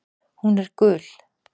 Hún er gul.